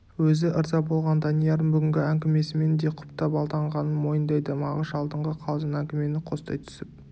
өзі ырза болған даниярын бүгінгі әңгімесімен де құптап алданғанын мойындайды мағыш алдыңғы қалжың әңгімені қостай түсіп